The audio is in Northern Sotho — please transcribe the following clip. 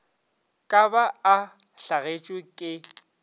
ka ba a hlagetšwe ke